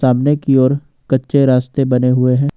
सामने की ओर कच्चे रास्ते बने हुए हैं।